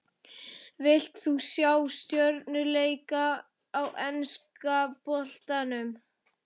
Vilt þú sjá stjörnuleik í enska boltanum?